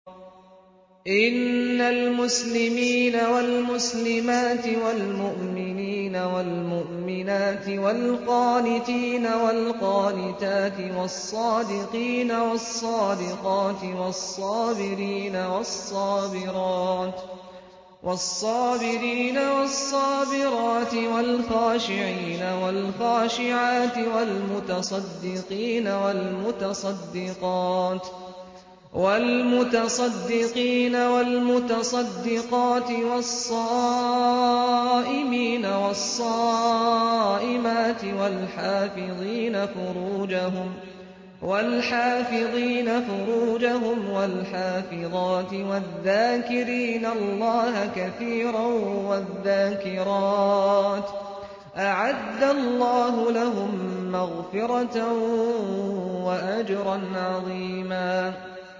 إِنَّ الْمُسْلِمِينَ وَالْمُسْلِمَاتِ وَالْمُؤْمِنِينَ وَالْمُؤْمِنَاتِ وَالْقَانِتِينَ وَالْقَانِتَاتِ وَالصَّادِقِينَ وَالصَّادِقَاتِ وَالصَّابِرِينَ وَالصَّابِرَاتِ وَالْخَاشِعِينَ وَالْخَاشِعَاتِ وَالْمُتَصَدِّقِينَ وَالْمُتَصَدِّقَاتِ وَالصَّائِمِينَ وَالصَّائِمَاتِ وَالْحَافِظِينَ فُرُوجَهُمْ وَالْحَافِظَاتِ وَالذَّاكِرِينَ اللَّهَ كَثِيرًا وَالذَّاكِرَاتِ أَعَدَّ اللَّهُ لَهُم مَّغْفِرَةً وَأَجْرًا عَظِيمًا